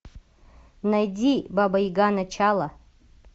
найди баба яга начало